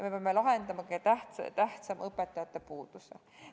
Me peame lahendama kõige tähtsama: õpetajate puuduse.